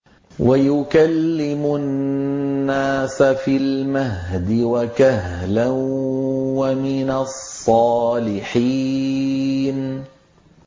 وَيُكَلِّمُ النَّاسَ فِي الْمَهْدِ وَكَهْلًا وَمِنَ الصَّالِحِينَ